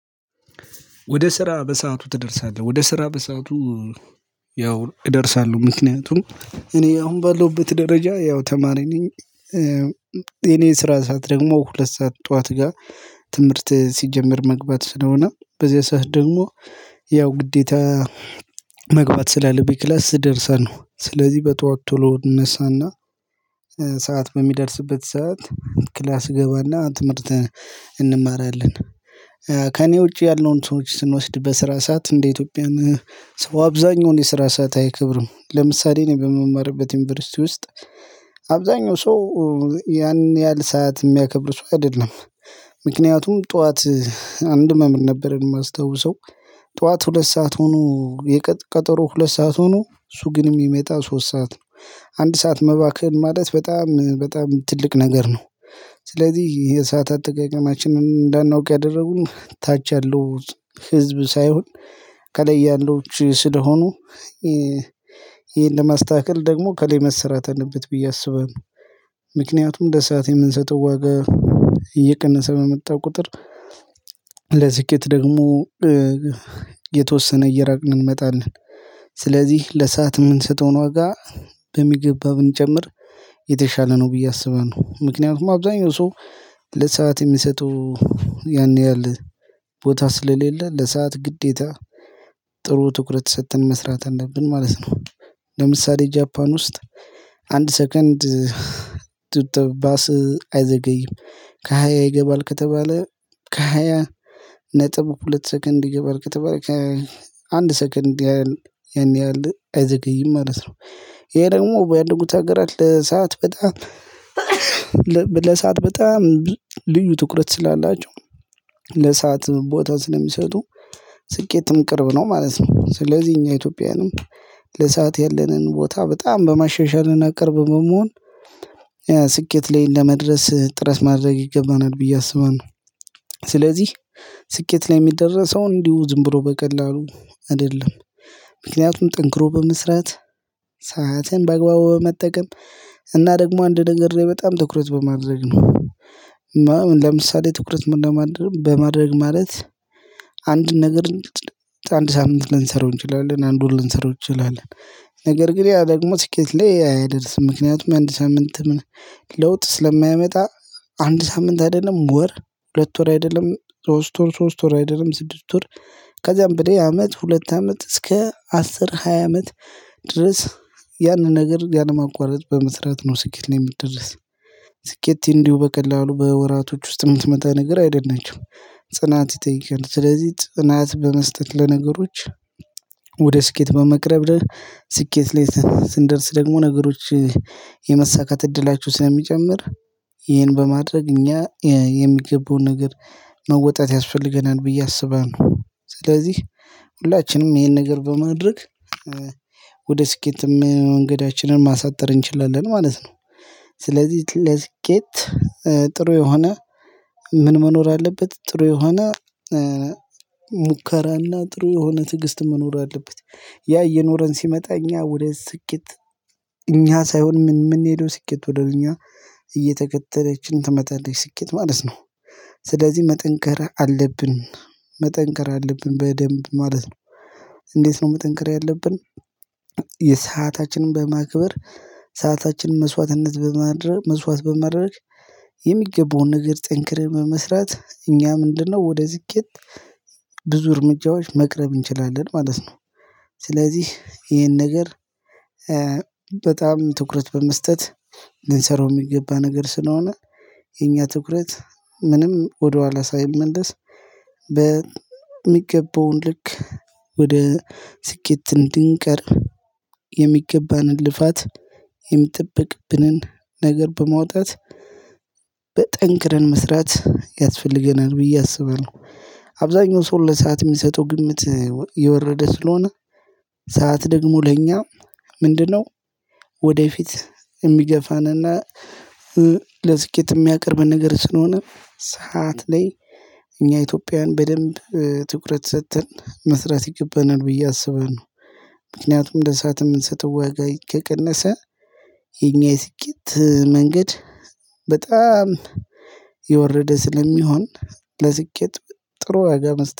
ወደ ስራ በሰአቱ ትደርሳለህ? ወደ ስራ በሰአቱ ያው እደርሳለሁ ምክንያቱም እኔ አሁን ባለሁበት ደረጃ ያው ተማሪ ነኝ የኔ ስራ ሰዓት ደግሞ ሁለት ሰዓት ጠዋት ጋ። ትምህርት ሲጀመር መግባት ስለሆነ በዚህ ሰዓት ደግሞ ያው ግዴታ መግባት ስላለብኝ ክላስ እደርሳነው። ስለዚህ በጠዋት ቶሎ እነሳና ሰዓት በሚደርስበት ሰዓት ክላስ እገባና ትምህርት እንማራለን። ከእኔ ውጪ ያለውን ሰዎች ስንወስድ በስራ ሰዓት እንደ ኢትዮጵያን ሰው አብዛኛውን የስራ ሰዓት አይከብርም። ለምሳሌ እኔ በምማርበት ዩኒቨርሲቲ ውስጥ አብዛኛው ሰው ያን ያህል ሰዓት የሚያከብር ሰው አይደለም። ምክንያቱም ጠዋት አንድ መምህር ነበር የማስታውሰው ጠዋት ሁለት ሰዓት ሆኖ የቀጠሮ ሁለት ሰዓት ሆኖ እሱ ግን ሚመጣ ሶስት ሰዓት ነው። አንድ ሰዓት መባከን ማለት በጣም በጣም ትልቅ ነገር ነው። ስለዚህ የሰዓት አጠቃቀማችንን እንዳናውቅ ያደረጉን ታች ያለው ህዝብ ሳይሆን ከላይ ያለውች ስለሆኑ ይሄን ለመስተካከል ደግሞ ከለይ መሰራት አለበት ብየ አስባለው። ምክንያቱም እንደ ሰዓት የምንሰጠው ዋጋ እየቀነሰ በመጣ ቁጥር ለስኬት ደግሞ የተወሰነ እየራቅን እንመጣለን። ስለዚህ ለሰአት የምንሰጠውን ዋጋ በሚገባ ብንጨምር የተሻለ ነው ብዬ አስባለው። ምክንያቱም አብዛኛው ሰው ለሰአት የሚሰጠው ያን ያህል ቦታ ስለሌለ ለሰአት ግዴታ ጥሩ ትኩረት ሰተን መስራት አለብን ማለት ነው። ለምሳሌ ጃፓን ውስጥ አንድ ሰከንድ ቱት ባስ አይዘገይም። ከሃያ ይገባል ከተባለ ከሃያ ነጥብ ሁለት ሰከንድ ይገባል ከተባለ ከአንድ ሰከንድ ያን ያህል አይዘገይም ማለት ነው። ይሄ ደግሞ ባደጉት አገራት ለሰአት በጣም ለሰአት በጣም ልዩ ትኩረት ስላላቸው ለሰአት ቦታ ስለሚሰጡ ስኬትም ቅርብ ነው ማለት ነው። ስለዚህ እኛ ኢትዮጵያውያንም ለሰአት ያለንን ቦታ በጣም በማሻሻልና ቅርብ መሆን ስኬት ላይ ለመድረስ ጥረት ማድረግ ይገባናል ብዬ አስባለሁ። ስለዚህ ስኬት ላይ የሚደረሰው እንዲሁ ዝም ብሎ በቀላሉ አይደለም። ምክንያቱም ጠንክሮ በመስራት ሰዓትን በአግባቡ በመጠቀም እና ደግሞ አንድ ነገር ላይ በጣም ትኩረት በማድረግ ነው። ለምሳሌ ትኩረት ለማድረግ በማድረግ ማለት አንድ ነገር አንድ ሳምንት ልንሰራው እንችላለን አንዱን ልንሰራው እንችላለን። ነገር ግን ያ ደግሞ ስኬት ላይ አያደርስም። ምክንያቱም አንድ ሳምንት ለውጥ ስለማያመጣ አንድ ሳምንት አይደለም ወር ሁለት ወር አይደለም ሶስት ወር ሶስት ወር አይደለም ስድስት ወር ከዛም በላይ አመት ሁለት አመት እስከ አስር ሃያ አመት ድረስ። ያንን ነገር ያንን ያለማቋረጥ በመስራት ነው ስኬት ላይ የምደርስ። ስኬት እንዲሁ በቀላሉ በወራቶች ውስጥ የምትመታ ነገር አይደለም። ጽናት ይጠይቃል ስለዚህ ጽናት በመስጠት ለነገሮች ወደ ስኬት በመቅረብ ስኬት ላይ ስንደርስ ደግሞ ነገሮች የመሳካት እድላችሁ ስለሚጨምር ይሄን በማድረግ እኛ የሚገባውን ነገር መወጣት ያስፈልገናል ብዬ አስባለሁ። ስለዚህ ሁላችንም ይሄን ነገር በማድረግ ወደ ስኬት መንገዳችንን ማሳጠር እንችላለን ማለት ነው። ስለዚህ ለስኬት ጥሩ የሆነ ምን መኖር አለበት ጥሩ የሆነ ሙከራና ጥሩ የሆነ ትዕግስት መኖር አለበት። ያ እየኖረን ሲመጣ እኛ ወደ ስኬት እኛ ሳይሆን ምን ምን ሄዶ ስኬት ወደ እኛ እየተከተለችን ትመጣለች ስኬት ማለት ነው። ስለዚህ መጠንከር አለብን። መጠንከር አለብን በደንብ ማለት ነው። እንዴት ነው መጠንከር ያለብን? የሰአታችን በማክበር ሰዓታችን መስዋዕትነት በማድረግ መስዋዕት በማድረግ የሚገባውን ነገር ጠንክረን በመስራት እኛ ምንድነው ወደ ስኬት ብዙ እርምጃዎች መቅረብ እንችላለን ማለት ነው። ስለዚህ ይሄን ነገር በጣም ትኩረት በመስጠት ልንሰራው የሚገባ ነገር ስለሆነ የኛ ትኩረት ምንም ወደኋላ ሳይመለስ በሚገባውን ልክ ወደ ስኬት እንድንቀርብ የሚገባንን ልፋት የሚጠበቅብንን ነገር በማውጣት በጠንክረን መስራት ያስፈልገናል ብዬ አስባለሁ። አብዛኛው ሰው ለሰአት ሚሰጠው ግምት የወረደ ስለሆነ ሰዓት ደግሞ ለእኛ ምንድነው ወደፊት የሚገፋንና ለስኬት የሚያቀርበን ነገር ስለሆነ ሰዓት ላይ እኛ ኢትዮጵያውያን በደንብ ትኩረት ሰተን መስራት ይገባናል ብዬ አስባለሁ። ምክንያቱም ለሰአት የምንሰጠው ዋጋ ከቀነሰ የኛ የስኬት መንገድ በጣም የወረደ ስለሚሆን ለስኬት ጥሩ ዋጋ መስጠት